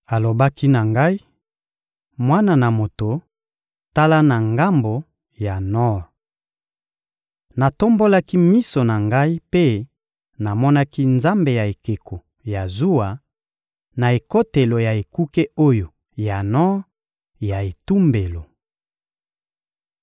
Alobaki na ngai: «Mwana na moto, tala na ngambo ya nor.» Natombolaki miso na ngai mpe namonaki nzambe ya ekeko ya zuwa, na ekotelo ya Ekuke oyo ya nor ya etumbelo.